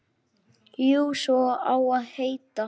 Jú, svo á að heita.